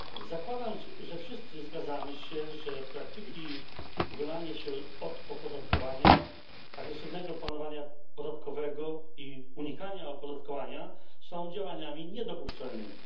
Zakładamy, że wszyscy zgadzamy się, iż praktyki uchylania się od opodatkowania, agresywnego planowania podatkowego i unikania opodatkowania są działaniami niedopuszczalnymi.